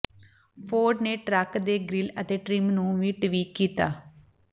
Ford ਨੇ truck ਦੇ grille ਅਤੇ ਟ੍ਰਿਮ ਨੂੰ ਵੀ ਟਵੀਕ ਕੀਤਾ